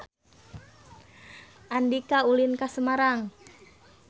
Andika ulin ka Semarang